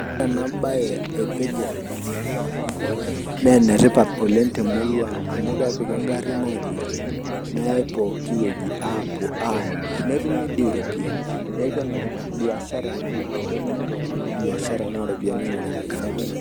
Ore ena baye e vegatables ashu enoompuka naa enetipat oleng' temurua ang' amu kepiki engarri aidurrie neyai pookin wueji aapuo aamirr netumi iropiyiani neeku enetipat biashra ena ore pooki toki tenaa baishara naa iropiyiani ing'orunyieki neeku enetipat.